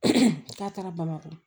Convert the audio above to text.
k'a taara bamakɔ